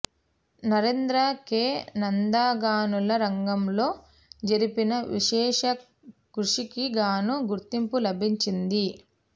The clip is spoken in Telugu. నరేంద్ర కె నందాగనుల రంగంలో జరిపిన విశేష కృషికిగాను గుర్తింపు లభించింది